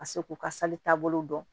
Ka se k'u ka sali taabolo dɔn